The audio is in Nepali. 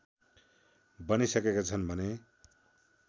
बनिसकेका छन् भने